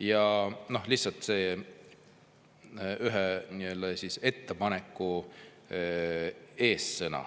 Ja viitan lihtsalt ühe nii-öelda ettepaneku sõnadele,